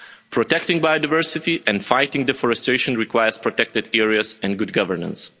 Protecting biodiversity and fighting deforestation requires protected areas and good governance.